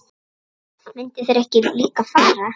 Myndu þeir ekki líka fara?